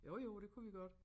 Jo jo det kunne vi godt